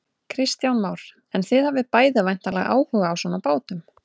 Kristján Már: En þið hafið bæði væntanlega áhuga á svona bátum?